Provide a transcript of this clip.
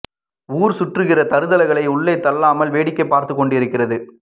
ஊர் சுற்றுகிற தருதலைகளை உள்ளே தள்ளாமல் வேடிக்கை பார்த்து கொண்டு இருக்கிறது